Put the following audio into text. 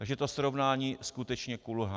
Takže to srovnání skutečně kulhá.